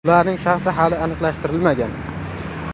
Ularning shaxsi hali aniqlashtirilmagan.